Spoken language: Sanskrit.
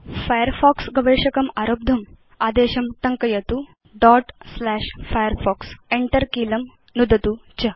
फायरफॉक्स गवेषकम् आरब्धुम् अधस्तन आदेशं टङ्कयतु firefox कीलं नुदतु च